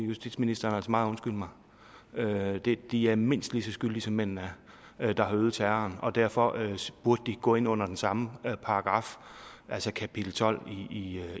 justitsministeren altså meget undskylde mig de er mindst lige så skyldige som mændene der har øvet terroren er og derfor burde de gå ind under den samme paragraf altså kapitel tolv i